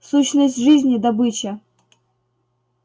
сущность жизни добыча